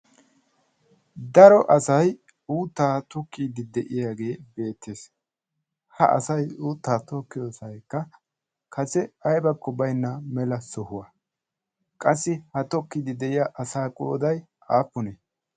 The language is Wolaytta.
Daro asai uuttaa tukkiiddi de'iyaagee beettees. ha asai uuttaa tokkiyoosaikka kase aibakko bainna mela sohuwaa qassi ha tokkiiddi de'iya asaa qooday aappunee?